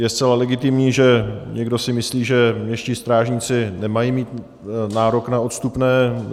Je zcela legitimní, že někdo si myslí, že městští strážníci nemají mít nárok na odstupné.